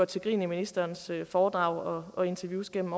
til grin i ministerens foredrag og interviews gennem